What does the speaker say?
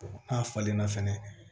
n'a falenna fɛnɛ